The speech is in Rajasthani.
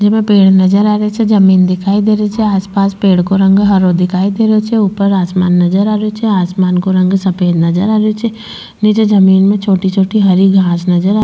जेमे पेड़ नजर आ रा छे जमीन दिखाई दे रही छे आस पास पेड़ को रंग हरो दिखाई दे रो छे ऊपर आसमान नजर आ रो छे आसमान का रंग सफ़ेद नजर आ रो छे निचे जमीं में छोटी छोटी हरी घास नजर आ --